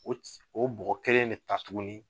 O o bɔgɔ kelen bɛ ta tugun